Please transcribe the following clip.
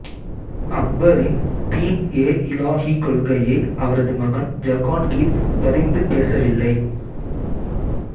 அக்பரின் தீன் ஏ இலாஹி கொள்கையை அவரது மகன் ஜஹாங்கீர் பரிந்து பேசவில்லை